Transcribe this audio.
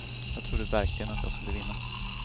Jag trodde verkligen att jag skulle vinna.